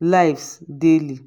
lives daily.